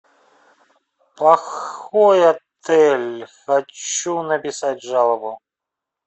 плохой отель хочу написать жалобу